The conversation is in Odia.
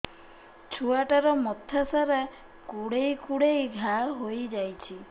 ଛୁଆଟାର ମଥା ସାରା କୁଂଡେଇ କୁଂଡେଇ ଘାଆ ହୋଇ ଯାଇଛି